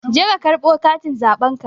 Je ka karɓo katin zaɓenka